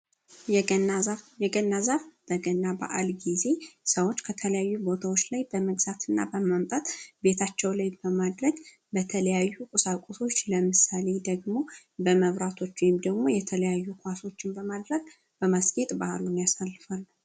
የገና ዛፍ የገና ዛፍ በገና በዓል ጊዜ ከተለያዩ ቦታዎች ላይ በመግዛትና በመምጣት ቤታቸው ላይ በማድረግ በተለያዩ ቁሳቁሶች ለምሳሌ ደግሞ በመብራቶች ደግሞ የተለያዩ በማድረግ በማስኬድ የሚያሳልፋሉ